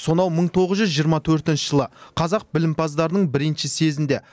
сонау мың тоғыз жүз жиырма төртінші жылы қазақ білімпаздарының бірінші съезінде